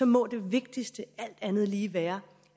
må det vigtigste alt andet lige være